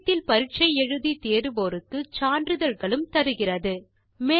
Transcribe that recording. இணையத்தில் பரிட்சை எழுதி தேர்வோருக்கு சான்றிதழ்களும் தருகிறது